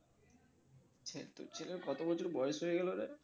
আচ্ছা তোর ছেলের কত বছর বয়স হয়ে গেলো রে?